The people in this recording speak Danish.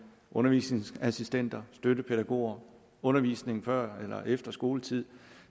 undervisningsassistenter støttepædagoger undervisning før eller efter skoletid